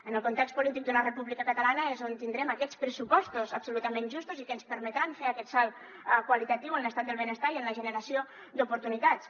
en el context polític d’una república catalana és on tindrem aquests pressupostos absolutament justos i que ens permetran fer aquest salt qualitatiu en l’estat del benestar i en la generació d’oportunitats